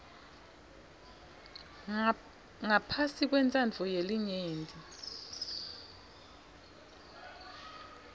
ngaphasi kwentsandvo yelinyenti